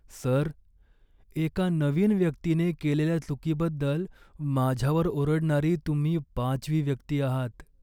Sir, एका नवीन व्यक्तीने केलेल्या चुकीबद्दल माझ्यावर ओरडणारी तुम्ही पाचवी व्यक्ती आहात.